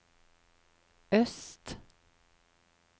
øst